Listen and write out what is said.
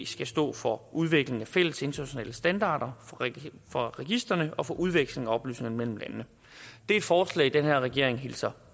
skal stå for udvikling af fælles internationale standarder for registrene og for udveksling af oplysninger mellem landene det er et forslag den her regering hilser